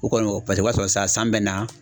O kɔni paseke o b'a sɔrɔ san san bɛ na.